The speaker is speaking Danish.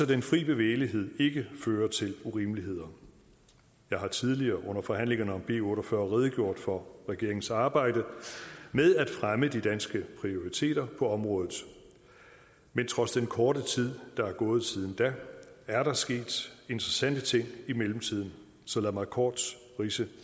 den fri bevægelighed ikke fører til urimeligheder jeg har tidligere under forhandlingerne om b otte og fyrre redegjort for regeringens arbejde med at fremme de danske prioriteter på området men trods den korte tid der er gået siden da er der sket interessante ting i mellemtiden så lad mig kort ridse